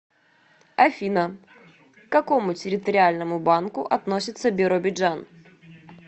афина к какому территориальному банку относится биробиджан